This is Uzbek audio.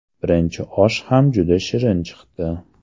Birinchi osh ham juda shirin chiqdi.